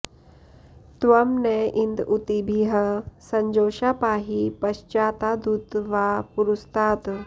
त्वं न॑ इन्द ऊ॒तिभिः॑ स॒जोषाः॑ पा॒हि प॒श्चाता॑दु॒त वा॑ पु॒रस्ता॑त्